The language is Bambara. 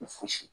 Fosi